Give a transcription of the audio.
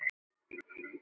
Eða svo segir hann.